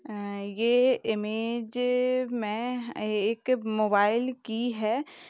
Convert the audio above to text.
अ ये इमेज मैं एक मोबाइल की है।